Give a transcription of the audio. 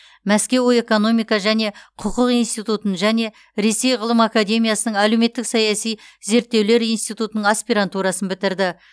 мәскеу экономика және құқық институтын және ресей ғылым академиясының әлеуметтік саяси зерттеулер институтының аспирантурасын бітірді